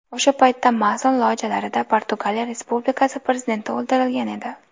O‘sha paytda mason lojalarida Portugaliya Respublikasi prezidenti o‘ldirilgan edi.